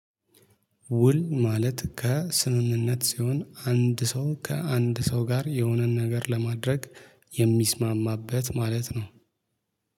ውል ማለት ከስምምነት ሲሆን አንድ ሰው ከአንድ ሰው ጋር የሆነን ነገር ለማድረግ የሚስማማበት ማለት ነው